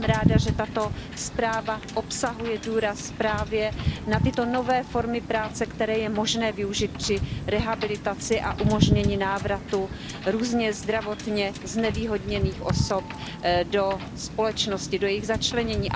Jsem ráda, že tato zpráva obsahuje důraz právě na tyto nové formy práce, které je možné využít při rehabilitaci a umožnění návratu různě zdravotně znevýhodněných osob do společnosti a při jejich začlenění.